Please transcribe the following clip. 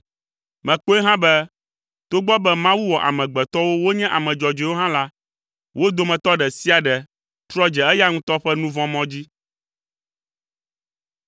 Mekpɔe hã be togbɔ be Mawu wɔ amegbetɔwo wonye ame dzɔdzɔewo hã la, wo dometɔ ɖe sia ɖe trɔ dze eya ŋutɔ ƒe nu vɔ̃ mɔ dzi.”